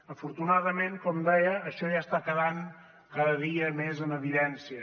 afortunadament com deia això ja està quedant cada dia més en evidència